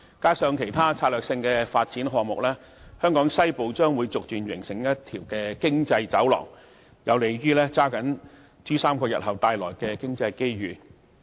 加上其他策略性發展項目，......香港西部將逐漸形成一條經濟走廊，......有利抓緊珠三角日後帶來的經濟機遇"。